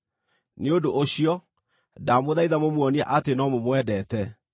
Nĩ ũndũ ũcio, ndamũthaitha mũmuonie atĩ no mũmwendete.